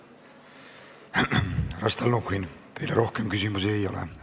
Härra Stalnuhhin, teile rohkem küsimusi ei ole.